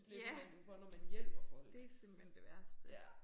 Ja. Det simpelthen det værste